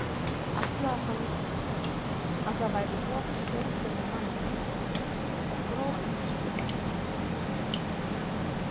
Ætlaði hann að það væri af sjódauðum manni og gróf í kirkjugarði.